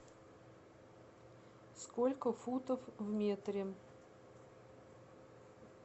сколько футов в метре